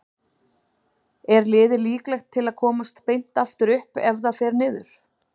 Er liðið líklegt til að komast beint aftur upp ef það fer niður?